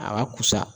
A ka kusa